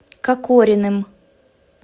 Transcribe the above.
кокориным